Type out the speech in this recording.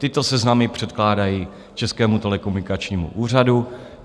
Tyto seznamy předkládají Českému telekomunikačnímu úřadu.